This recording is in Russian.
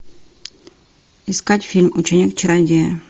искать фильм ученик чародея